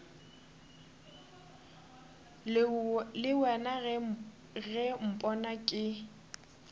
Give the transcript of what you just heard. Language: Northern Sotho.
le wena ge mpona ke